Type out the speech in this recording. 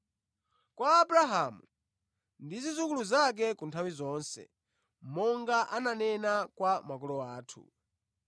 Kwa Abrahamu ndi zidzukulu zake ku nthawi zonse monga ananena kwa makolo athu.”